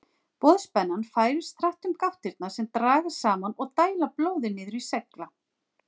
Boðspennan færist hratt um gáttirnar sem dragast saman og dæla blóði niður í slegla.